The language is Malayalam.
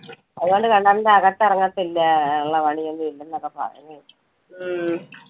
അതുകൊണ്ട് കിണറിന്റെ അകത്തിറങ്ങതില്ല, ഉള്ള പണി ഒന്നും ഇല്ലെന്നൊക്കെ പറഞ്ഞു.